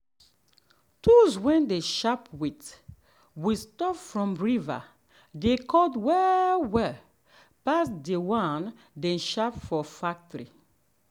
tools way them um sharp with with stop from river dey cut well well um pass the one dem sharp for um factory.